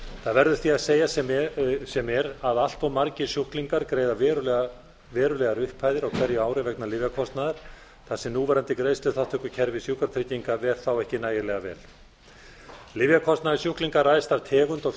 það verður því að segjast sem er að allt of margir sjúklingar greiða verulegar upphæðir á hverju ári vegna lyfjakostnaðar þar sem núverandi greiðsluþátttökukerfi sjúkratrygginga ver þá ekki nægilega vel lyfjakostnaður sjúklinga ræðst af tegund og